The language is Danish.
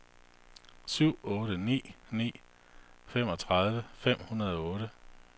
syv otte ni ni femogtredive fem hundrede og otte